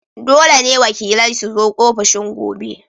Dole ne wakilai su zo ofishin gobe!